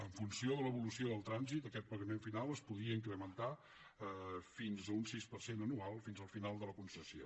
en funció de l’evolució del trànsit aquest pagament final es podria incrementar fins a un sis per cent anual fins al final de la concessió